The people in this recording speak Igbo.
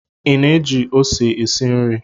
Ị na-eji ose esi nri